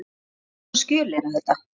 Hvers konar skjöl eru þetta?